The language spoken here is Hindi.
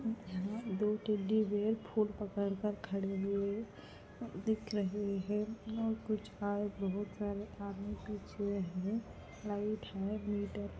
और यहाँ टेड्डी बेयर फूल पकड़ कर खड़े हुए दिख रहे है यहाँ कुछ है बहुत सारे आदमी पीछे है लाइट है गिलटर --